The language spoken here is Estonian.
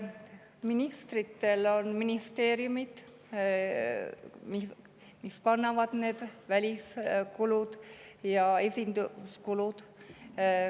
Jah, ministritel on ministeeriumid, mis kannavad välis kulud ja esinduskulud.